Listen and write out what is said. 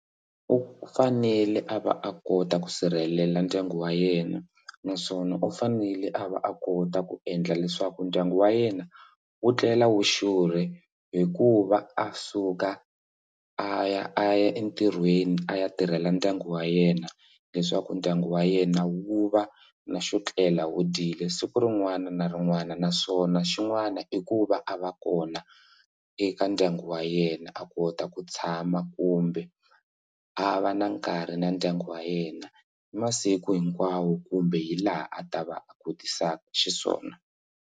U fanele a va a kota ku sirhelela ndyangu wa yena naswona u fanele a va a kota ku endla leswaku ndyangu wa yena wu tlela wu xurhe hikuva a suka a ya a ya entirhweni a ya tirhela ndyangu wa yena leswaku ndyangu wa yena wu va na xo tlela wu dyile siku rin'wana na rin'wana naswona xin'wana i ku va a va kona eka ndyangu wa yena a kota ku tshama kumbe a va na nkarhi na ndyangu wa yena masiku hinkwawo kumbe hi laha a ta va a kotisaku xiswona.